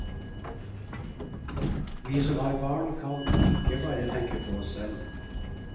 Vi som har barn, kan ikke bare tenke på oss selv.